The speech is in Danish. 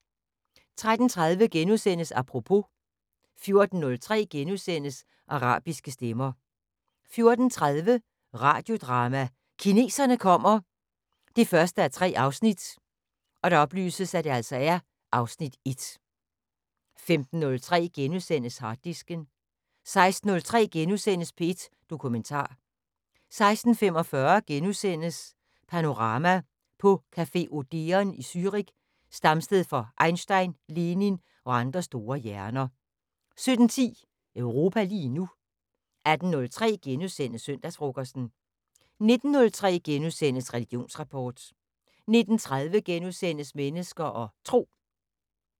13:30: Apropos * 14:03: Arabiske stemmer * 14:30: Radiodrama: Kineserne kommer 1:3 (Afs. 1) 15:03: Harddisken * 16:03: P1 Dokumentar * 16:45: Panorama: På café Odeon i Zürich, stamsted for Einstein, Lenin og andre store hjerner * 17:10: Europa lige nu 18:03: Søndagsfrokosten * 19:03: Religionsrapport * 19:30: Mennesker og Tro *